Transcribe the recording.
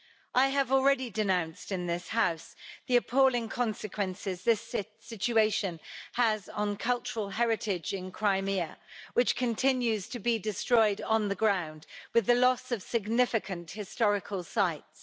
I have already denounced in this House the appalling consequences this situation has had on cultural heritage in Crimea, which continues to be destroyed on the ground with the loss of significant historical sites.